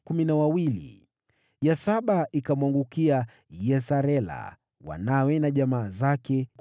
ya saba ikamwangukia Yesarela, wanawe na jamaa zake, 12